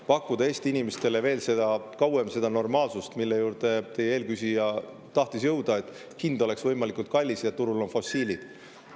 – pakkuda Eesti inimestele kauem veel seda normaalsust, mille juurde eelmine küsija tahtis jõuda, hind oleks võimalikult kallis ja turul on fossiilid.